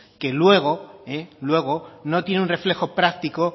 que luego no tiene un reflejo práctico